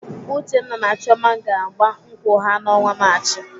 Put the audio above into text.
Uchenna na Chioma ga-agba nkwụ ha n'ọnwa Maachị.